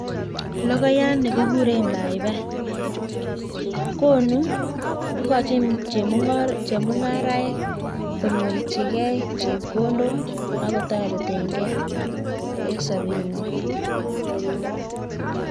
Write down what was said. Lokonyat nii kikuree paipai ingochi chemung'araek konyorchikee chebkondok ak kotoretenkee eng sabeeng ngwan